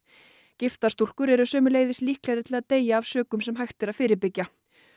giftar stúlkur eru sömuleiðis líklegri til að deyja af sökum sem hægt er að fyrirbyggja